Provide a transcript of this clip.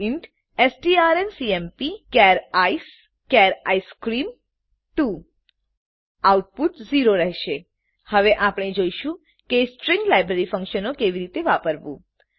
int strncmpચાર ICE ચાર ice cream 2 output 0 રહેશે હવે આપણે જોઈશું કે સ્ટ્રીંગ લાઈબ્રેરી ફંકશનો કેવી રીતે વાપરવું